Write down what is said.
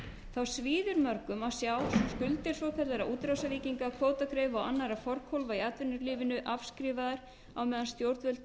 lántöku þá svíður mörgum að sjá skuldir svokallaðra útrásarvíkinga kvótagreifa og annarra forkólfa í atvinnulífinu afskrifaðar á meðan stjórnvöld